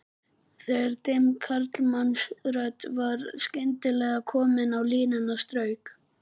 Þegar dimm karlmannsrödd var skyndilega komin á línuna strauk